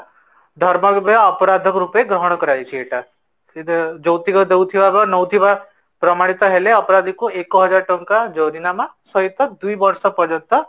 ଅପରାଧ ରୂପେ ଗ୍ରହଣ କର ଯାଇଛି ଏଟା ସେ ଯୌତୁକ ଦଉଥିବା ନଉଥିବା ପ୍ରମାଣିତ ହେଲେ ଅପରାଧୀକୁ ଏକ ହଜ଼ାର ଟଙ୍କା ଜୋରିନାମା ସହିତ ଦୁଇ ବରସସ ପର୍ଯ୍ୟନ୍ତ